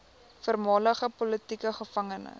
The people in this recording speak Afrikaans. voormalige politieke gevangenes